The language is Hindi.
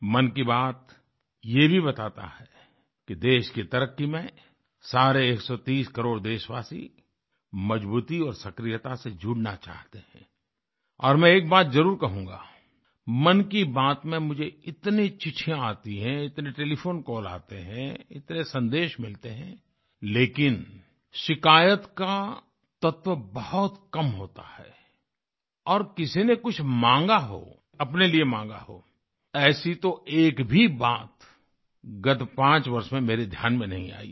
मन की बात ये भी बताता है कि देश की तरक्की में सारे 130 करोड़ देशवासी मजबूती और सक्रियता से जुड़ना चाहते हैं और मैं एक बात जरुर कहूँगा किमन की बात में मुझे इतनी चिट्ठियाँ आती हैं इतने टेलीफोन कॉल आते हैं इतने सन्देश मिलते हैं लेकिन शिकायत का तत्व बहुत कम होता है और किसी ने कुछ माँगा हो अपने लिए माँगा हो ऐसी तो एक भी बात गत पांच वर्ष में मेरे ध्यान में नहीं आयी है